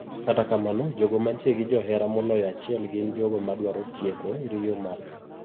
Kata kamano jogo mantie gi johera moloyo achiel gin jogo madwaro tieko riyo margi.